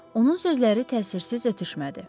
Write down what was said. Onun sözləri təsirsiz ötüşmədi.